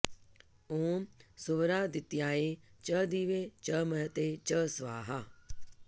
ॐ सुवरादित्याय च दिवे च महते च स्वाहा